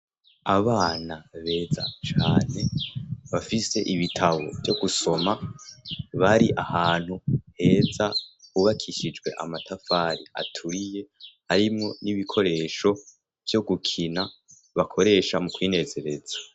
Abana beza cane bafise ibitabo vyo gusoma bari ahantu heza hubakishijwe amatafari aturiye harimwo n'ibikoresho vyo gukina bakoresha mu kwinezereza.